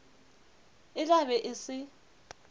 e tla be e se